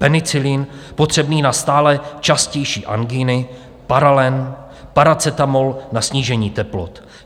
Penicilin potřebný na stále častější angíny, Paralen, paracetamol na snížení teplot.